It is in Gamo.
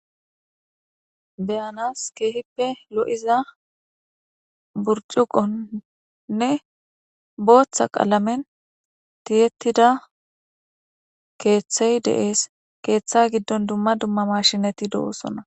Beyanas keehippe lo,iza burcuqonnne booththa qaalamen tiyettida keeththey de,ees keeththe giddon dumma dumma mashinati dowoosona.